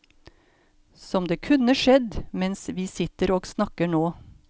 Som det kunne skjedd mens vi sitter og snakker nå.